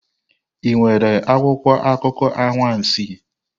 Ị nwere akwụkwọ akụkọ anwansi?